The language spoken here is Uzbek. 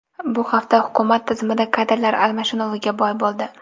Bu hafta hukumat tizimida kadrlar almashinuviga boy bo‘ldi.